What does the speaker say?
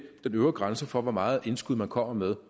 den øvre grænse for hvor meget indskud man kommer med